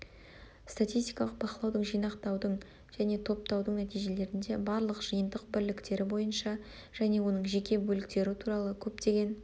статистикалық бақылаудың жинақтаудың және топтаудың нәтижелерінде барлық жиынтық бірліктері бойынша және оның жеке бөліктері туралы көптеген